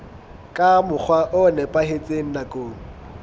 ka mokgwa o nepahetseng nakong